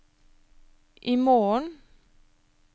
imorgen